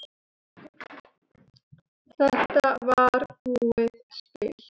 Þetta var búið spil.